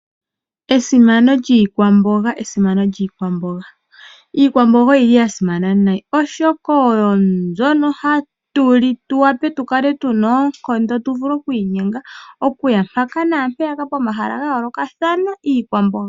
Esimano lyiikwamboga, esimano lyiikwamboga Iikwamboga oyili ya simana nayi, oshoka oyo mbyono hatu li tu wape tu kale tuna oonkondo, tu vule okwiinyenga, oku ya mpaka naampeyaka pomahala ga yoolokathana.